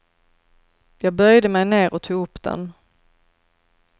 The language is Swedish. Jag böjde mig ner och tog upp den.